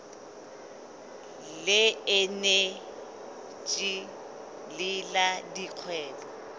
le eneji le la dikgwebo